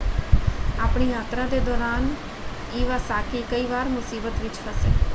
ਆਪਣੀ ਯਾਤਰਾ ਦੇ ਦੌਰਾਨ ਈਵਾਸਾਕੀ ਕਈ ਵਾਰ ਮੁਸੀਬਤ ਵਿੱਚ ਫਸੇ।